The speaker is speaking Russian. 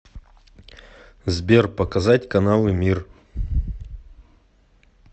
сбер показать каналы мир